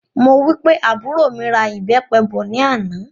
Mo wí pé àbúrò mí ra ìbépe bọ̀ ní àná